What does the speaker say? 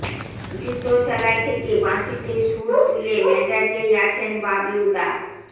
জুতো সেলাই থেকে বাঁশিতে সুর তুলে মেজাজেই আছেন বাবলুদা